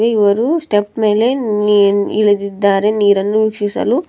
ಇವರು ಸ್ಟೆಪ್ ಮೇಲೆ ನೀ-ಇಳಿದಿದ್ದಾರೆ ನೀರನ್ನು ವೀಕ್ಷಿಸಲು--